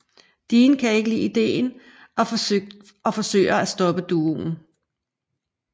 Dean kan ikke lide ideen og forsøger at stoppe duoen